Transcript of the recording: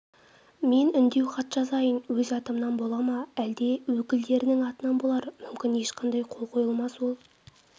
мен үндеу хат жазайын өз атымнан бола ма әлде өкілдерінің атынан болар мүмкін ешқандай қол қойылмас ол